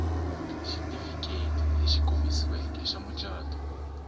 xitifiketi lexi komisiweke xa mucato